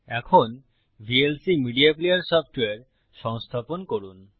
এখন VLC media player software সংস্থাপন করুন